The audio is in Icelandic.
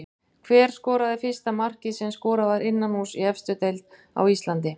Hver skoraði fyrsta markið sem skorað var innanhúss í efstu deild á Íslandi?